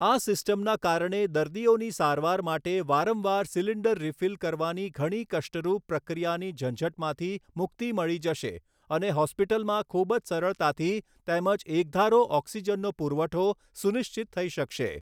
આ સિસ્ટમના કારણે દર્દીઓની સારવાર માટે વારંવાર સિલિન્ડર રીફિલ કરવાની ઘણી કષ્ટરૂપ પ્રક્રિયાની ઝંઝટમાંથી મુક્તિ મળી જશે અને હોસ્પિટલમાં ખૂબ જ સરળતાથી તેમજ એકધારો ઓક્સિજનનો પુરવઠો સુનિશ્ચિત થઈ શકશે.